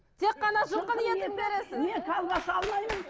тек қана жылқының етін бересіз мен колбаса алмаймын